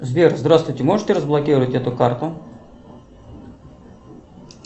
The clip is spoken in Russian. сбер здравствуйте можете разблокировать эту карту